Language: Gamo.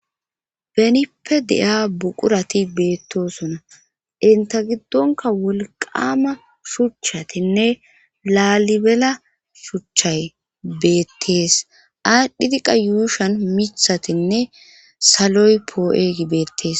benippe de7ia buqurati beettosona inta giddonka wolqama shuchchatinne laalibela shuchchay beettees aadhdhidiqa yuushan mithatinne saloy poo7eeygi beettees